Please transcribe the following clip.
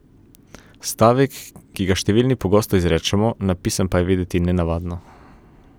Stavek, ki ga številni pogosto izrečemo, napisan pa je videti nenavadno.